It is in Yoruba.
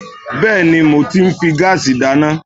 Bẹ́ẹ̀ni, mo ti ń fi gáàsì dáná